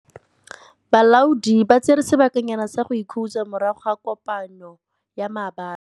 Balaodi ba tsere sebakanyana sa go ikhutsa morago ga kopanô ya maabane.